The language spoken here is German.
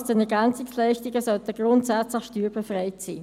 Die Einnahmen aus den EL sollten grundsätzlich steuerbefreit sein.